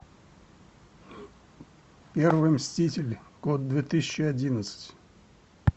первый мститель год две тысячи одиннадцать